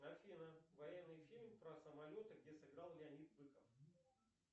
афина военный фильм про самолеты где сыграл леонид быков